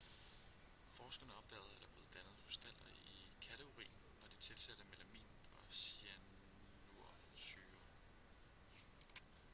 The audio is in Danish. forskerne opdagede at der blev dannet krystaller i katteurin når de tilsatte melamin og cyanursyre